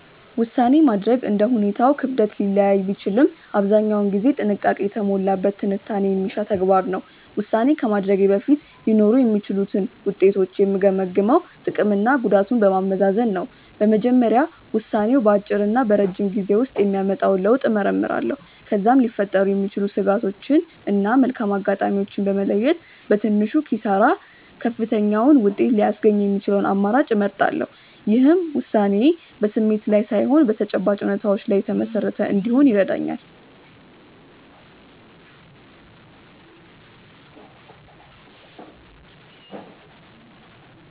ውሳኔ ማድረግ እንደ ሁኔታው ክብደት ሊለያይ ቢችልም አብዛኛውን ጊዜ ጥንቃቄ የተሞላበት ትንታኔ የሚሻ ተግባር ነው። ውሳኔ ከማድረጌ በፊት ሊኖሩ የሚችሉትን ውጤቶች የምገመግመው ጥቅምና ጉዳቱን በማመዛዘን ነው። በመጀመሪያ ውሳኔው በአጭርና በረጅም ጊዜ ውስጥ የሚያመጣውን ለውጥ እመረምራለሁ። ከዚያም ሊፈጠሩ የሚችሉ ስጋቶችን እና መልካም አጋጣሚዎችን በመለየት፣ በትንሹ ኪሳራ ከፍተኛውን ውጤት ሊያስገኝ የሚችለውን አማራጭ እመርጣለሁ። ይህም ውሳኔዬ በስሜት ላይ ሳይሆን በተጨባጭ እውነታዎች ላይ የተመሰረተ እንዲሆን ይረዳኛል።